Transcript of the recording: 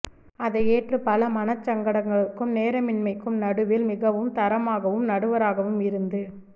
அதை ஏற்று பல மனச்சங்கடங்களுக்கும் நேரமின்மைக்கும் நடுவில் மிகவும் தரமாகவும் நடுவராகவும் இருந்து